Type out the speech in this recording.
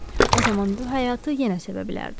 O zaman bu həyatı yenə sevə bilərdi.